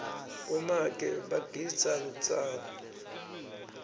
bomake bagidza lutsango